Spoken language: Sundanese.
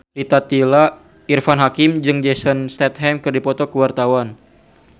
Irfan Hakim jeung Jason Statham keur dipoto ku wartawan